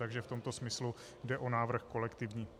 Takže v tomto smyslu jde o návrh kolektivní.